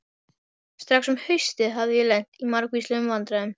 Strax um haustið hafði ég lent í margvíslegum vandræðum.